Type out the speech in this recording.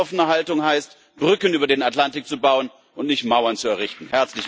Eine weltoffene Haltung heißt, Brücken über den Atlantik zu bauen, und nicht, Mauern zu errichten.